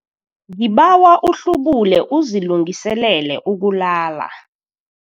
Ngibawa uhlubule uzilungiselele ukulala.